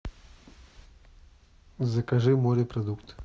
закажи морепродукты